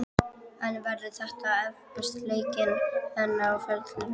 En verða þetta erfiðustu leikir hennar á ferlinum?